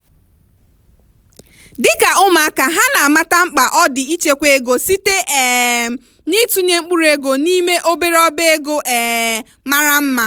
dịka ụmụaka ha na amata mkpa ọ dị ichekwa ego site um n'itụnye mkpụrụ ego n'ime obere ọba ego um mara mma.